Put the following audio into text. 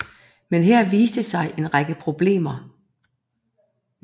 Men her viste der sig en række problemer